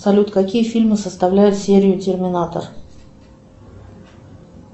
салют какие фильмы составляют серию терминатор